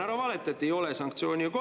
Ära valeta, et ei ole sanktsioone!